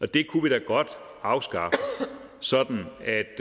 det kunne vi da godt afskaffe sådan at